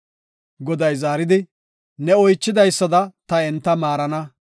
Goday zaaridi, “Ne oychidaysada ta enta maarana.